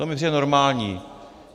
To mi přijde normální.